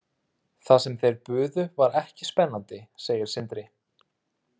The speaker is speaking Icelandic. Það sem þeir buðu var ekki spennandi, segir Sindri.